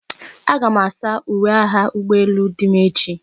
Aga m asa uwe agha ụgbọ elu dim echi.